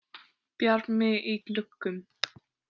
Bjarmi í gluggum.